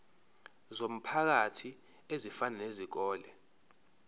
zomphakathi ezifana nezikole